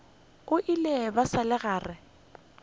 ile ba sa le gare